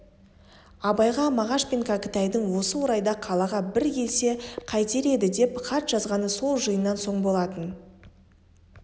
абайға мағаш пен кәкітайдың осы орайда қалаға бір келсе қайтер еді деп хат жазғаны сол жиыннан соң болатын